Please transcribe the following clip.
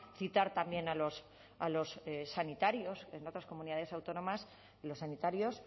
citar también a los sanitarios en otras comunidades autónomas los sanitarios